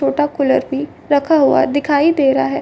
छोटा कूलर भी रखा हुआ दिखाई दे रहा है।